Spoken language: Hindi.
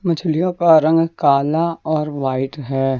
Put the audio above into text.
मछलियों का रंग काला और वाइट है।